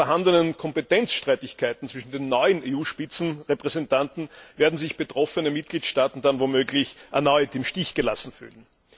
Bei den vorhandenen Kompetenzstreitigkeiten zwischen den neuen EU Spitzenrepräsentanten werden sich betroffene Mitgliedstaaten dann womöglich erneut im Stich gelassen fühlen.